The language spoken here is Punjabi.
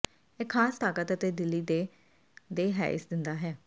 ਇਹ ਖਾਸ ਤਾਕਤ ਅਤੇ ਦਿਲੀ ਦੇ ਦੇ ਹੈਇਸ ਦਿੰਦਾ ਹੈ